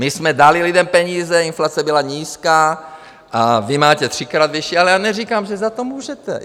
My jsme dali lidem peníze, inflace byla nízká, a vy máte třikrát vyšší, ale já neříkám, že za to můžete.